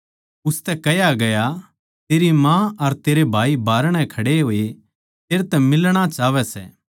उसतै कह्या गया तेरी माँ अर तेरे भाई बाहरणै खड़े होए तेरै तै मिलणा चाहवैं सै